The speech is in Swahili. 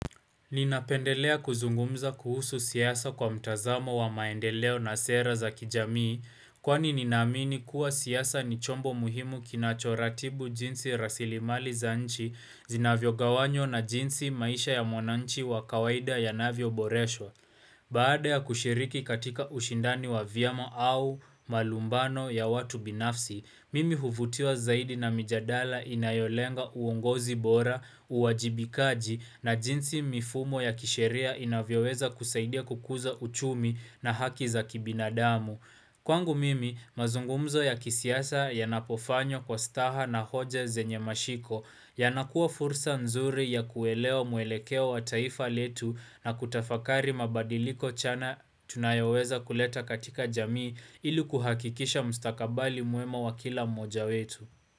Ninapendelea kuzungumza kuhusu siasa kwa mtazamo wa maendeleo na sera za kijamii kwani ninaamini kuwa siasa ni chombo muhimu kinachoratibu jinsi rasilimali za nchi zinavyo gawanywa na jinsi maisha ya mwananchi wa kawaida ya navyo Boresho. Baada ya kushiriki katika ushindani wa vyama au malumbano ya watu binafsi, mimi huvutiwa zaidi na mijadala inayolenga uongozi bora, uwajibikaji na jinsi mifumo ya kisheria inavyoweza kusaidia kukuza uchumi na haki za kibinadamu. Kwangu mimi, mazungumzo ya kisiasa ya napofanywa kwa staha na hoja zenye mashiko yanakuwa fursa nzuri ya kuelewa muelekea wa taifa letu na kutafakari mabadiliko chana tunayoweza kuleta katika jamii ili kuhakikisha mstakabali mwema wa kila mmoja wetu.